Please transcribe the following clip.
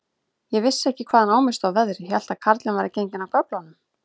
Ég vissi ekki, hvaðan á mig stóð veðrið, hélt að karlinn væri genginn af göflunum.